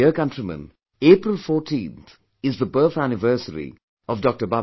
My dear countrymen, April 14 is the birth anniversary of Dr